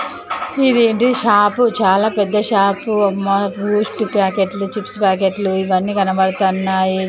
ఇదేంటి షాపు చాలా పెద్ద షాపు ఇక్కడ బూస్ట్ ప్యాకెట్లు చిప్స్ ప్యాకెట్లు ఇవన్నీ కనపడుతున్నాయి.